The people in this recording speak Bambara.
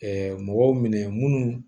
mɔgɔw minɛ minnu